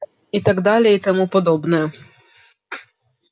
и так далее и тому подобное